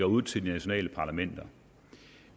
ud til de nationale parlamenter